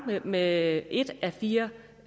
med et af fire